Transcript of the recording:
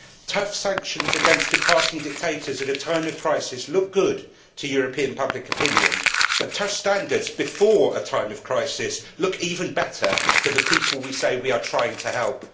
Tough sanctions against departing dictators at a time of crisis look good to European public opinion, but tough standards before a time of crisis look even better for the people we say we are trying to help.